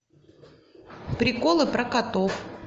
приколы про котов